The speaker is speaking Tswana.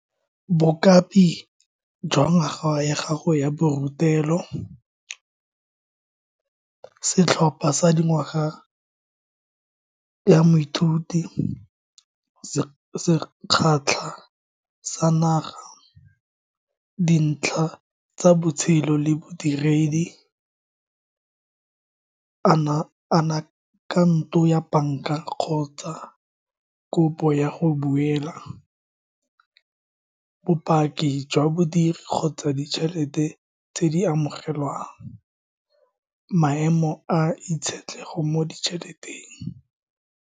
jwa ngwaga ya gago ya borutelo, setlhopha sa dingwaga ya moithuti se kgatlha sa naga, dintlha tsa botshelo le bodiredi, a na account-o ya banka kgotsa kopo ya go buela, bopaki jwa bodiri kgotsa ditšhelete tse di amogelwang, maemo a itshetlego mo di tšheleteng.